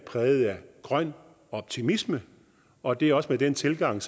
præget af grøn optimisme og det er også den tilgang